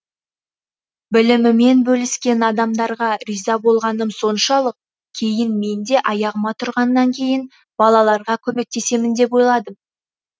білімімен бөліскен адамдарға риза болғаным соншалық кейін мен де аяғыма тұрғаннан кейін балаларға көмектесемін деп ойладым